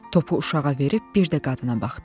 Topu uşağa verib bir də qadına baxdım.